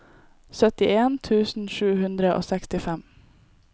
syttien tusen sju hundre og sekstifem